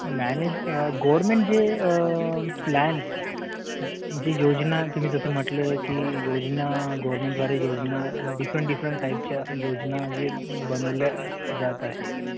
manage government जे plans म्हणजे योजना तुम्ही जसं म्हटलं की योजना government द्वारे योजना different different types च्या योजना जे बनवल्या जात आहे